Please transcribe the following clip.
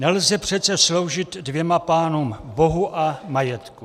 Nelze přece sloužit dvěma pánům, Bohu a majetku."